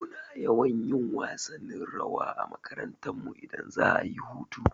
Muna yawan yin wasannin rawa a makarantarmu idan za'a yi hutu.